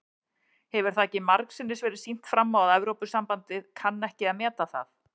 Hefur það ekki margsinnis verið sýnt fram á að Evrópusambandið kann ekki að meta það?